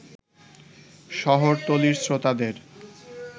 শহরতলীর শ্রোতাদের